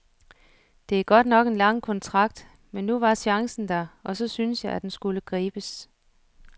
Det er godt nok en lang kontrakt, men nu var chancen der, og så syntes jeg, at den skulle gribes.